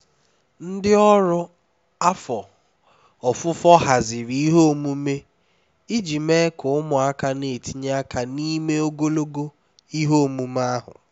ndị ọrụ afọ ofufo haziri ihe omume iji mee ka ụmụaka na-etinye aka n'ime ogologo ihe omume ahụ